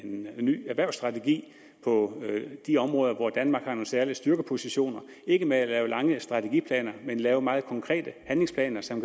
med en ny erhvervsstrategi på de områder hvor danmark har nogle særlige styrkepositioner ikke med at lave lange strategiplaner men lave meget konkrete handlingsplaner som